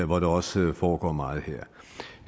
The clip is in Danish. hvor der også foregår meget